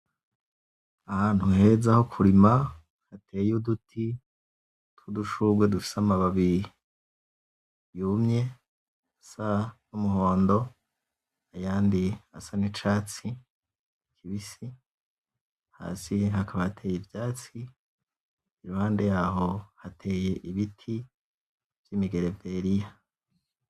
Ahantu heza ho kurima hateye uduti tw'udushugwe dufise amababi yumye asa n'umuhondo ayandi asa n'icatsi kibisi hasi hakaba hateye ivyatsi iruhande yaho hateye ibiti vy'imigereveriya.